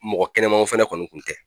Mɔgɔ kɛnɛmaw fana kɔni kun tɛ.